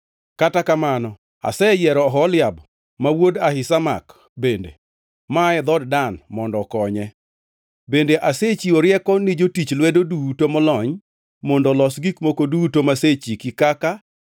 Kata kamano aseyiero Oholiab wuod Ahisamak bende, maa e dhood Dan mondo okonye. “Bende asechiwo rieko ni jotich lwedo duto molony mondo olos gik moko duto masechiki kaka: